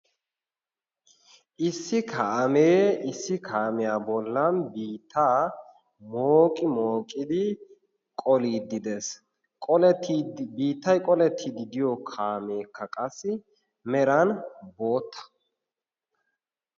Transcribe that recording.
issi kaamee issi kaamiyaa bollan biittaa mooqi mooqidi qoliiddi de'ees. biittay qolettiidi diyo kaameekka qassi meran bootta.